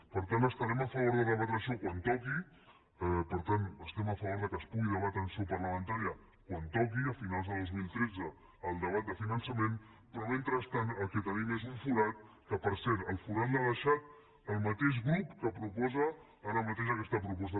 per tant estarem a favor de debatre això quan toqui per tant estem a favor que es pugui debatre en seu parlamentària quan toqui a finals de dos mil tretze al debat de finançament però mentrestant el que tenim és un forat que per cert el forat l’ha deixat el mateix grup que proposa ara mateix aquesta proposta